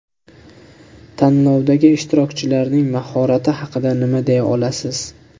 Tanlovdagi ishtirokchilarning mahorati haqida nimalar deya olasiz?